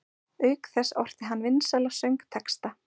Auk þess orti hann vinsæla söngtexta.